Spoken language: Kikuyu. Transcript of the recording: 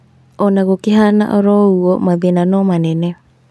Ona gũkĩhana oro ũguo mathĩna no manene